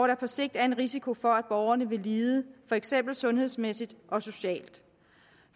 der på sigt er en risiko for at borgerne vil lide for eksempel sundhedsmæssigt og socialt